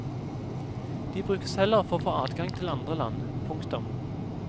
De brukes heller for å få adgang til andre land. punktum